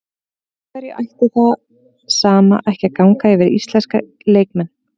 Af hverju ætti það sama ekki að ganga yfir íslenska leikmenn?